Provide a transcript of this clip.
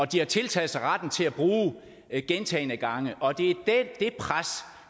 de har tiltaget sig retten til at bruge gentagne gange og